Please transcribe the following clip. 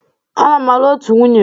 Ana m alụ otu nwunye.